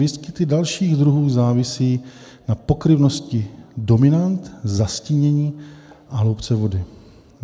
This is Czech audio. Výskyt dalších druhů závisí na pokryvnosti dominant, zastínění a hloubce vody.